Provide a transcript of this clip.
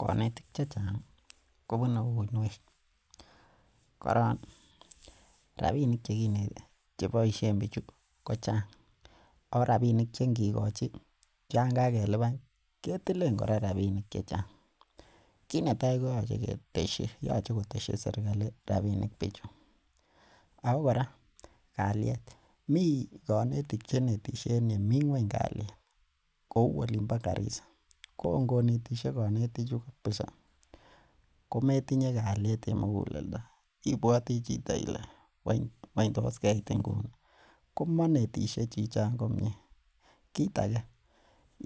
Konetik chechang kobunei uiniek . Koron robinik chekineten che boisien bichu kochang Ako robinik che ingi kochi Yoon kokeluban ketileen kora robinik Chechang. Kinetai koyoche ketesyi koteshi serigali rabinik bichu, ako kora ko kaliet, mii konetik cheinetisye en yeming'uony kaliet. Kouu olimbo karisa ko ingonetisye konetichu kabisa komotinye kaliet en moguleldo ibuati chito Ile weny tos keit inguni? Komanetishe chichon komie kit age